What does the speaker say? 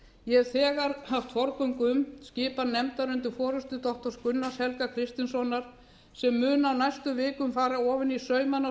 ég hef þegar haft forgöngu um skipun nefndar undir forustu doktor gunnars helga kristinssonar sem mun á næstu vikum fara ofan í saumana á